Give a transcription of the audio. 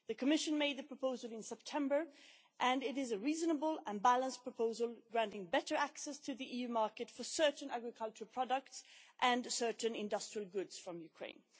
The Commission made the proposal in September and it is a reasonable and balanced proposal, granting better access to the EU market for certain agricultural products and certain industrial goods from Ukraine.